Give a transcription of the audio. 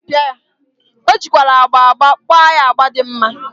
O jikwara agba agba gba ya agba di mma.